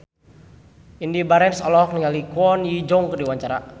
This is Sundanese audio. Indy Barens olohok ningali Kwon Ji Yong keur diwawancara